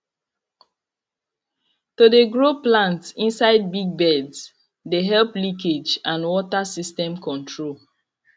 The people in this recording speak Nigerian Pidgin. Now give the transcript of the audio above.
to de grow plants inside big beds de help leakage and water system control